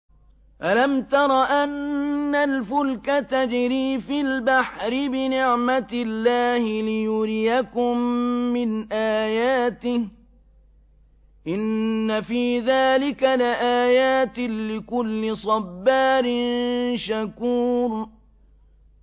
أَلَمْ تَرَ أَنَّ الْفُلْكَ تَجْرِي فِي الْبَحْرِ بِنِعْمَتِ اللَّهِ لِيُرِيَكُم مِّنْ آيَاتِهِ ۚ إِنَّ فِي ذَٰلِكَ لَآيَاتٍ لِّكُلِّ صَبَّارٍ شَكُورٍ